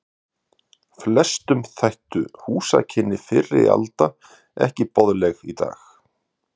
Flestum þættu húsakynni fyrri alda ekki boðleg í dag.